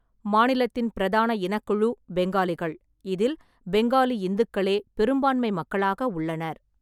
மாநிலத்தின் பிரதான இனக்குழு பெங்காலிகள், இதில் பெங்காலி இந்துக்களே பெரும்பான்மை மக்களாக உள்ளனர்.